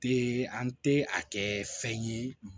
Te an te a kɛ fɛn ye